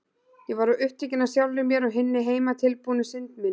Ég var of upptekin af sjálfri mér og hinni heimatilbúnu synd minni.